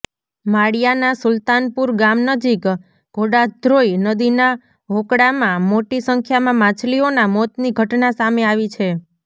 માળિયાના સુલતાનપુર ગામ નજીક ઘોડાધ્રોઈ નદીના હોકળામાં મોટી સંખ્યામાં માછલીઓના મોતની ઘટના સામે આવી છે